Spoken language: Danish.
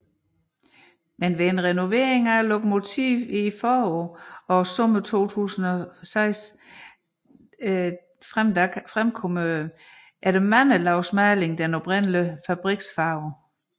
Men ved renovering af lokomotivet i foråret og sommeren 2006 fremkom efter mange lag maling den oprindelige fabriks farve